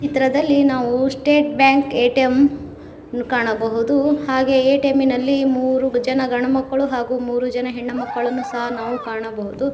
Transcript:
ಚಿತ್ರದಲ್ಲಿ ನಾವು state bank A T M ಕಾಣಬಹುದು ಹಾಗೆ ಎ ಟಿ ಎಮಿ ನಲ್ಲಿ ಮೂರು ಜನ ಗಂಡ ಮಕ್ಕಳು ಹಾಗು ಮೂರು ಜನ ಹೆಣ್ಣ ಮಕ್ಕಳನ್ನು ಸಹ ನಾವು ಕಾಣಬಹುದು.